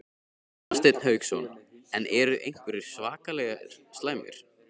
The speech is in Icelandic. Hafsteinn Hauksson: En eru einhverjir svakalega slæmir?